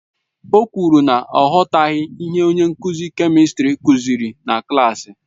O kwuru na ọ aghọtaghị ihe onye nkuzi kèmistrị kuziri na klaasị.